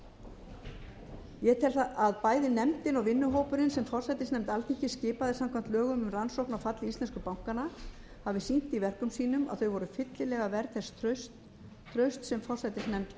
ég tel að bæði nefndin og vinnuhópurinn sem forsætisnefnd alþingis skipaði samkvæmt lögum um rannsókn á falli íslensku bankanna hafi sýnt í verkum sínum að þau voru fyllilega verð þess trausts sem forsætisnefnd